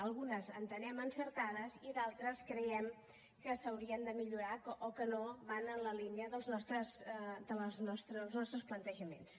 algunes les entenem encertades i d’altres creiem que s’haurien de millorar o que no van en la línia dels nostres plantejaments